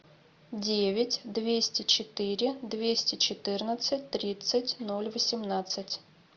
девять двести четыре двести четырнадцать тридцать ноль восемнадцать